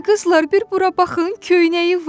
"Ay qızlar, bir bura baxın, köynəyi var!"